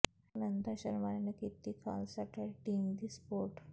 ਸੁਨੰਦਾ ਸ਼ਰਮਾ ਨੇ ਕੀਤੀ Khalsa Aid team ਦੀ ਸੁਪੋਰਟ